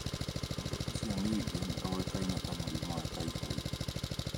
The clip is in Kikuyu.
Ũndũ ũcio ningĩ nĩ ũĩkaine ta mũrimũ wa typhoid.